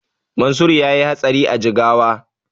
Mansur yayi hatsari a Jigawa